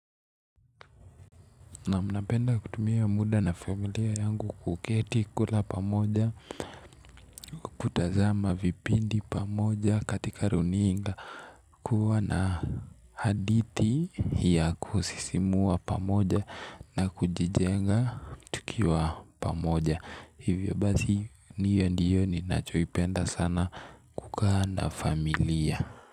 Naam napenda kutumia muda na familia yangu kuketi kula pamoja, kutazama vipindi pamoja katika runinga, kuwa na hadithi ya kusisimua pamoja na kujijenga tukiwa pamoja. Hivyo basi niyo ndiyo ninachoipenda sana kukaa na familia.